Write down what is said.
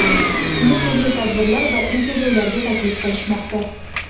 Uni turli tadbirlar va intervyularga taklif qilishmoqda.